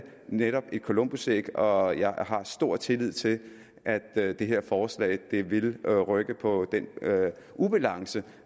netop et columbusæg og jeg har stor tillid til at det her forslag vil rykke på den ubalance